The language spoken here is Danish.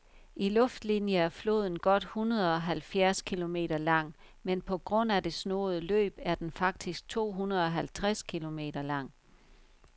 I luftlinie er floden godt hundredeoghalvfjerds kilometer lang, men på grund af det snoede løb er den faktisk tohundredeoghalvtreds kilometer lang.